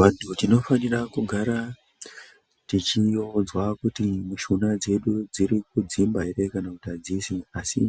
Vantu tino fanira kugara techi udzwa kuti mishuna dzedu dziri kudzimba ere kana kuti adzisi asi